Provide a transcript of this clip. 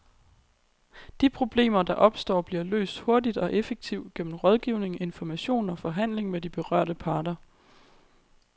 De problemer, der opstår, bliver løst hurtigt og effektivt gennem rådgivning, information og forhandling med de berørte parter.